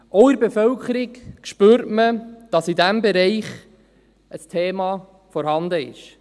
Auch in der Bevölkerung spürt man, dass in diesem Bereich ein Thema vorhanden ist.